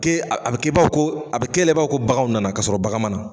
Kɛ a bɛ kɛ baw ko a bɛ kela' ko bagan nana ka sɔrɔ bagan mana.